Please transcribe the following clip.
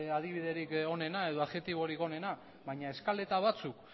adibiderik onena edo adjektiborik onena baina eskaleta batzuk